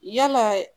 Yala